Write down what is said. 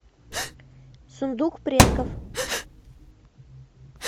сундук предков